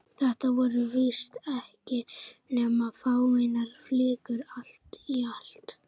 Þetta voru víst ekki nema fáeinar flíkur allt í allt.